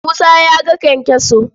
Musa ya ga kyankyaso.